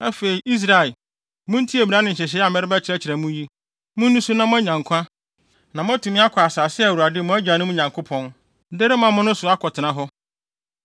Afei, Israel, muntie mmara ne nhyehyɛe a merebɛkyerɛkyerɛ mo yi. Munni so na moanya nkwa, na moatumi akɔ asase a Awurade, mo agyanom Nyankopɔn, de rema mo no so akɔtena hɔ.